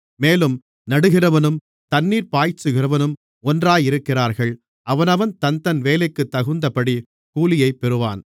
மேலும் நடுகிறவனும் தண்ணீர்ப் பாய்ச்சுகிறவனும் ஒன்றாயிருக்கிறார்கள் அவனவன் தன்தன் வேலைக்குத் தகுந்தபடி கூலியைப் பெறுவான்